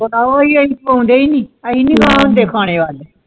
ਪੌਂਦੇ ਨਹੀਂ ਖਾਉਂਦੇ ਇੰਨੀ ਖਾਣੇ ਬਾਦ